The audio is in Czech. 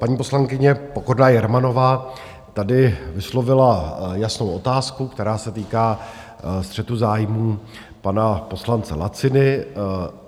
Paní poslankyně Pokorná Jermanová tady vyslovila jasnou otázku, která se týká střetu zájmů pana poslance Laciny.